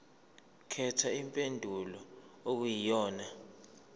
khetha impendulo okuyiyona